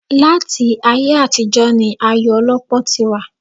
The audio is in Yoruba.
Láti ayé àtijọ́ ni ayò ọlọ́pọ́ ti wà